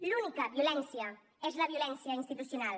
l’única violència és la violència institucional